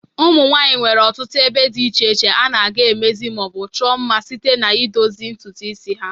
Ụmụnwanyị nwere ọtụtụ ebe dị iche iche ha na-aga emezi ma o bụ chụọ mma site n'idozi ntụtụ isi ha.